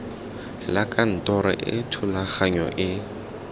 la kantoro e thulaganyo e